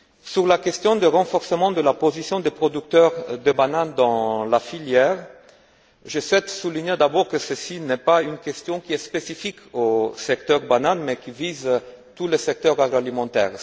Sur la question du renforcement de la position des producteurs de banane dans la filière, je souhaite souligner, d'abord, que ceci n'est pas une question spécifique au secteur banane mais qui vise tout le secteur agroalimentaire.